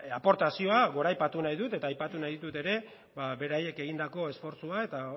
aportazioa goraipatu nahi dut eta aipatu nahi ditut ere beraiek egindako esfortzua eta